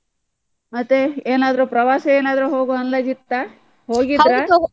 ಮತ್ತೆ, ಏನಾದ್ರೂ ಪ್ರವಾಸ ಏನಾದ್ರೂ ಹೋಗುವ ಅಂದಾಜಿ ಇತ್ತ ?